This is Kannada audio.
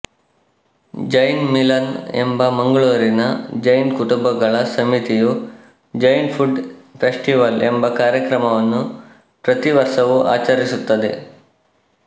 ಜೈನ್ ಮಿಲನ್ ಎಂಬ ಮಂಗಳೂರಿನ ಜೈನ ಕುಟುಂಬಗಳ ಸಮಿತಿಯು ಜೈನ್ ಫುಡ್ ಫೆಸ್ಟಿವಲ್ ಎಂಬ ಕಾರ್ಯಕ್ರಮವನ್ನು ಪ್ರತಿವರ್ಷವೂ ಆಚರಿಸುತ್ತದೆ